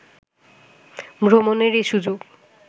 ভ্রমণের এ সুযোগ